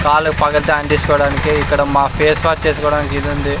కాలు పగల్తే ఆన్ తీసుకోవడానికి ఇక్కడ మ ఫేస్ వాష్ చేసుకోవడానికి ఇదుంది.